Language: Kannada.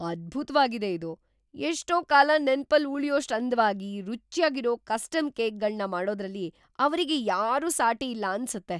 ಅದ್ಭುತ್ವಾಗಿದೆ ಇದು! ಎಷ್ಟೋ ಕಾಲ ನೆನ್ಪಲ್ ಉಳ್ಯೋಷ್ಟು ಅಂದ್ವಾಗಿ, ರುಚ್ಯಾಗಿರೋ ಕಸ್ಟಮ್‌ ಕೇಕ್‌ಗಳ್ನ ಮಾಡೋದ್ರಲ್ಲಿ ಅವ್ರಿಗೆ ಯಾರೂ ಸಾಟಿ ಇಲ್ಲ ಅನ್ಸತ್ತೆ!